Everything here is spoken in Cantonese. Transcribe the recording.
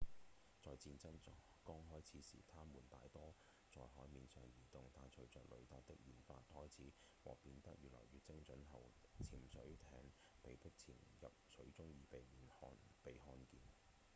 在戰爭剛開始時它們大多在海面上移動但隨著雷達的研發開始和變得越來越精確後潛水艇被迫潛入水中以避免被看見